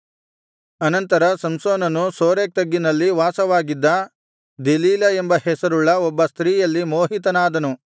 ಅನಂತರ ಸಂಸೋನನು ಸೋರೇಕ್ ತಗ್ಗಿನಲ್ಲಿ ವಾಸವಾಗಿದ್ದ ದೆಲೀಲಾ ಎಂಬ ಹೆಸರುಳ್ಳ ಒಬ್ಬ ಸ್ತ್ರೀಯಲ್ಲಿ ಮೋಹಿತನಾದನು